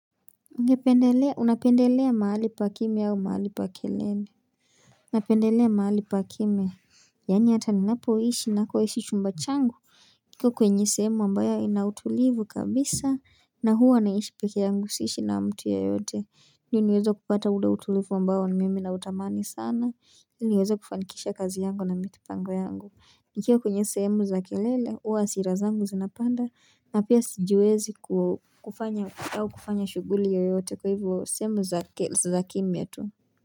Unapendelea mahali pa kime yao mahali pa kelele Napendelea mahali pa kimya Yani hata ninapo ishi nako ishi chumba changu kiko kwenye sehemu ambayo inautulivu kabisa na huwa naishi peke yangu siishi na mtu yeyote Ndiyo niweza kupata ule utulivu ambayo na mimi na utamani sana ili niweza kufankisha kazi yangu na mipango yangu nikiwa kwenye sehemu za kelele huwa hasira zangu zinapanda na pia sijiwezi kufanya au kufanya shuguli yoyote kwa hivyo sehemu za kimya tu.